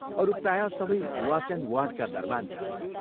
अरू प्रायः सबै वाच एण्ड वार्डका दरवान छन्।